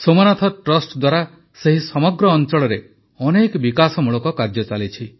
Somnath trust ଦ୍ୱାରା ସେହି ସମଗ୍ର ଅଂଚଳରେ ଅନେକ ବିକାଶମୂଳକ କାର୍ଯ୍ୟ ଚାଲିଛି